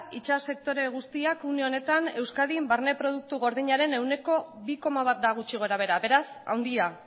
itsas sektore guztiak une honetan euskadin barne produktu gordinaren ehuneko bi koma bat da gutxi gorabehera beraz handia